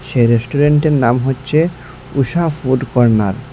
এই রেষ্টুরেন্টের নাম হচ্চে ঊষা ফুড কর্ণার ।